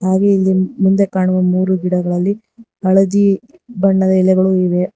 ಹಾಗು ಇಲ್ಲಿ ಮುಂದೆ ಕಾಣುವ ಮೂರು ಗಿಡಗಳಲ್ಲಿ ಹಳದಿ ಬಣ್ಣದ ಎಲೆಗಳು ಇವೆ.